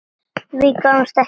Við því gáfust engin svör.